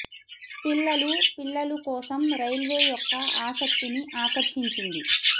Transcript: పిల్లలు పిల్లలు కోసం రైల్వే యొక్క ఆసక్తిని ఆకర్షించింది